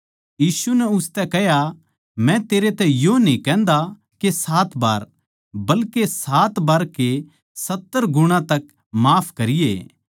यीशु नै उसतै कह्या मै तेरै तै यो न्ही कहन्दा के सात बार बल्के सात बार के सत्तर गुणा तक माफ करिये